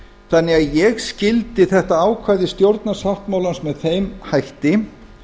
þannig að ég skyldi þetta ákvæði stjórnarsáttmálans með þeim hætti